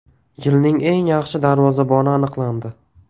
Yilning eng yaxshi darvozaboni aniqlandi.